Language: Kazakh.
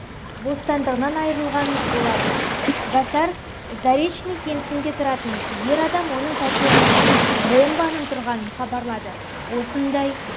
бостандығынан айырылған болатын жасар заречный кентінде тұратын ер адам оның пәтерінде бомбаның тұрғанын хабарлады осындай